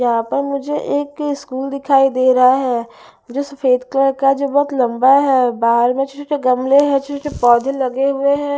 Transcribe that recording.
यहां पर मुझे एक स्कूल दिखाई दे रहा है जो सफेद कलर का जो बहोत लंबा है बाहर में छोटे छोटे गमले हैं छोटे छोटे पौधे लगे हुए हैं।